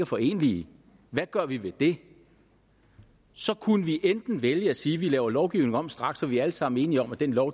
forenelige hvad gør vi ved det så kunne vi vælge at sige at vi laver lovgivningen om straks for vi er alle sammen enige om at den lov